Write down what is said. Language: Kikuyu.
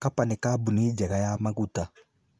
Kapa nĩ kambuni njega ya maguta.